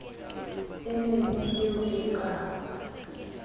e mebe eo e ka